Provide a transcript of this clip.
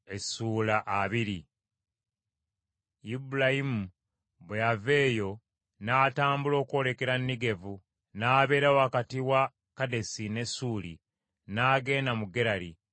Ibulayimu bwe yava eyo n’atambula okwolekera Negevu, n’abeera wakati wa Kadesi ne Ssuuli; n’agenda mu Gerali.